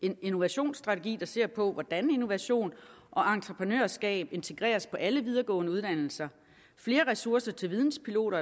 en innovationsstrategi der ser på hvordan innovation og entreprenørskab integreres på alle videregående uddannelser flere ressourcer til videnspiloter